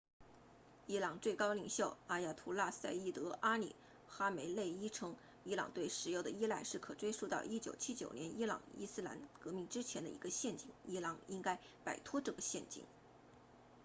伊朗最高领袖阿亚图拉赛义德阿里哈梅内伊 ayatollah ali khamenei 称伊朗对石油的依赖是可追溯到1979年伊朗伊斯兰革命之前的一个陷阱伊朗应该摆脱这个陷阱